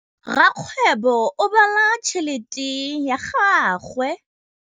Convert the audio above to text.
Rakgwêbô o bala tšheletê ya gagwe.